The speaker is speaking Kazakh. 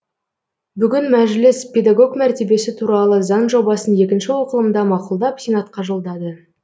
бүгін мәжіліс педагог мәртебесі туралы заң жобасын екінші оқылымда мақұлдап сенатқа жолдады